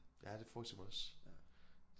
Ja det forestiller jeg mig også